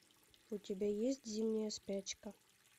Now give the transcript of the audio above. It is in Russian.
у тебя есть зимняя спячка